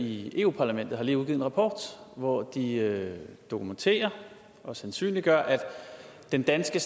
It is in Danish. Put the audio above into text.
i europa parlamentet har lige udgivet en rapport hvor de dokumenterer og sandsynliggør at den danske